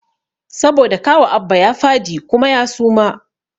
Saboda kawu Abba ya fadi kuma ya suma